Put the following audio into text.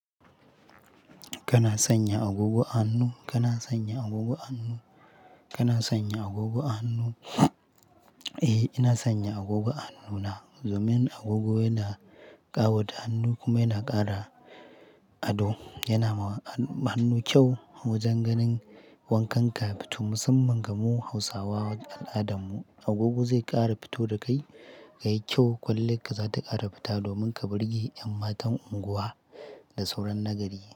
Kana sanya agogo a hannu? Kana sanya agogo a hannu? Kana sanya agogo a hannu? Eh, ina sanya agogo a hannuna. Domin agogo yana ƙawata hannu kuma yana ƙara ado. Yana ma hannu kyau wajen ganin wankan ka ya fito musamman ga mu Hausawa al'adanmu. Agogo zai ƙara fito da kai ka yi kyau, kwalliyar ka za ta ƙara fita domin ka burge ƴan matan unguwa da sauran na gari.